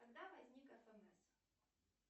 когда возник фмс